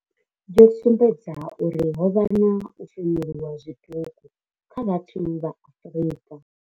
yo sumbedza uri ho vha na u femuluwa zwiṱuku kha vhathu vha Afrika.